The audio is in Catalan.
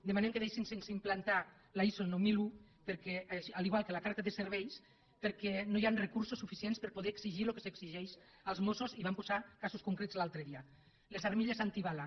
demanem que deixin sense implantar la iso nou mil un igual que la carta de serveis perquè no hi ha recursos suficients per poder exigir lo que s’exigeix als mossos i vam posar casos concrets l’altre dia les armilles antibales